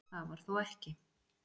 Það var þó ekki?